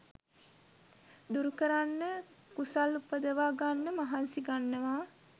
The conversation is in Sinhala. දුරුකරන්න කුසල් උපදවා ගන්න මහන්සි ගන්නවා